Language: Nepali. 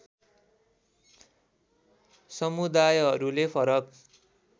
समुदायहरूले फरक